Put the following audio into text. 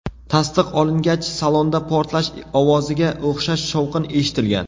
Tasdiq olingach, salonda portlash ovoziga o‘xshash shovqin eshitilgan.